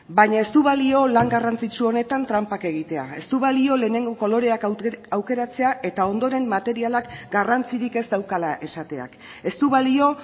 baina ez du balio lan garrantzitsu honetan tranpak egitea ez du balio lehenengo koloreak aukeratzea eta ondoren materialak garrantzirik ez daukala esateak ez du balio